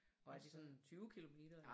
Og er det sådan 20 kilometer?